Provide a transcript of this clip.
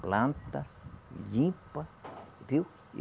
planta, limpa, viu?